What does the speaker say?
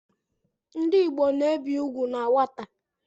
Ndị Igbo na-ebi ugwu na nwata